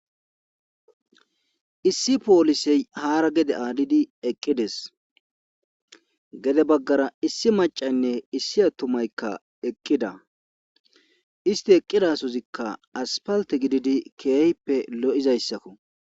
issi poolisey haara gede aalidi eqqides gede baggara issi macaynne issi atumaykka eqqida isti eqqidasozikka aspalte gididi keeyppe lo7izayssakko